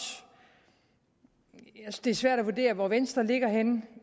det er svært at vurdere hvor venstre ligger henne